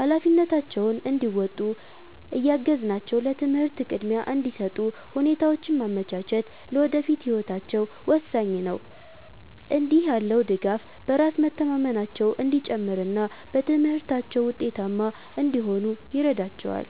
ኃላፊነታቸውን እንዲወጡ እያገዝናቸው ለትምህርት ቅድሚያ እንዲሰጡ ሁኔታዎችን ማመቻቸት ለወደፊት ህይወታቸው ወሳኝ ነው። እንዲህ ያለው ድጋፍ በራስ መተማመናቸው እንዲጨምርና በትምህርታቸው ውጤታማ እንዲሆኑ ይረዳቸዋል።